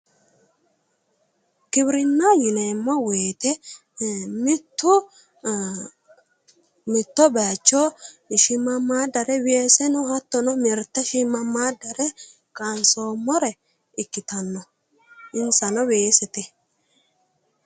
Giwirinna yineemmo woyte mitto mitto baycho shiimammaaddare weeseno hattono mirte shiimammaaddare kaansoommore ikkitaanno insano weesete